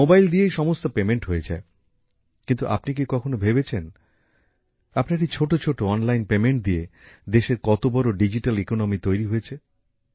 mobile দিয়েই সমস্ত আর্থিক লেনদেন হয়ে যায় কিন্তু আপনি কি কখনো ভেবেছেন আপনার এই ছোট ছোট অনলাইন লেনদেন দিয়ে দেশের কত বড় ডিজিট্যাল অর্থনীতি তৈরি হয়েছে